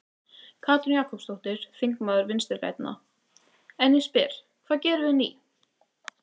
Katrín Jakobsdóttir, þingmaður Vinstri-grænna: En ég spyr, hvað gerum við ný?